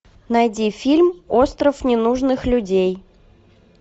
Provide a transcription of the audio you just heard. найди фильм остров ненужных людей